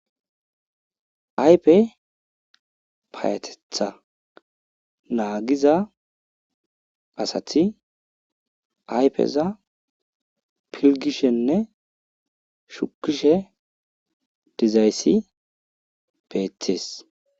Ayfe payateththa naagiza asati ayfeza filgishenne shukishe dizayssi beetees.